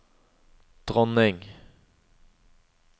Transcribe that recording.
dronning